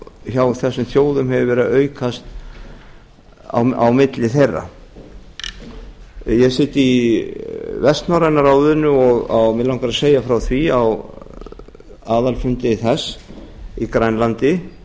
hjá þessum þjóðum hefur verið að aukast á milli þeirra ég sit í vestnorræna ráðinu og mig langar að segja frá því að á aðalfundi þess í grænlandi